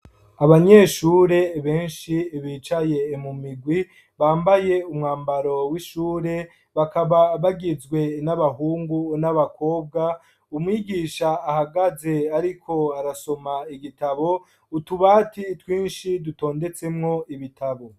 abanyeshure benshi bicaye mumigwi bambaye umwambaro w'ishure bakaba bagizwe n'abahungu n'abakobwa umwigisha ahagaze ariko arasoma igitabo ,utubati twinshi dutondetsemwo ibitabo.